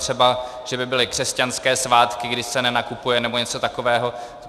Třeba že by byly křesťanské svátky, kdy se nenakupuje, nebo něco takového.